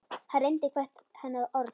Hann reyndi hvert hennar orð.